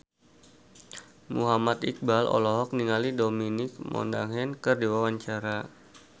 Muhammad Iqbal olohok ningali Dominic Monaghan keur diwawancara